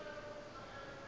o be a re o